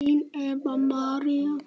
Þín Eva María.